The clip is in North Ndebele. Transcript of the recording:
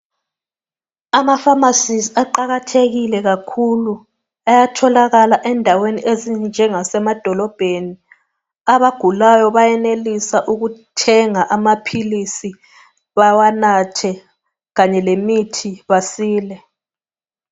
Amafamasi aqakathekile kakhulu, ayatholakala endaweni ezinjengase madolobheni, abagulayo bayenelisa ukuthenga amaphilisi bawanathe kanye lemithi basile.